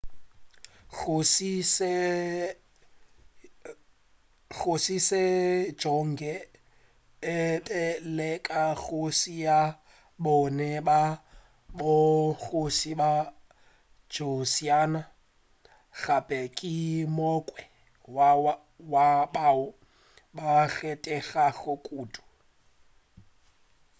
kgoši sejong e be e le kgoši ya bone ya bogoši bja joseon gape ke o mongwe wa bao ba kgethegago kudu